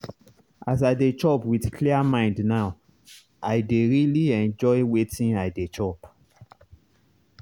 as i dey chop with clear mind now i dey really enjoy wetin i dey chop.